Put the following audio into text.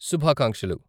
శుభాకాంక్షలు!